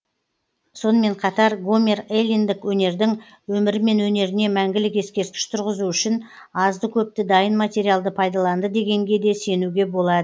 сонымен қатар гомер эллиндік өнердің өмірі мен өнеріне мәңгілік ескерткіш тұрғызу үшін азды көпті дайын материалды пайдаланды дегенге де сенуге болады